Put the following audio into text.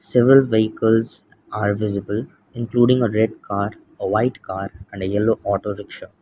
several vehicles are visible including a red car a white car and a yellow auto rikshaw.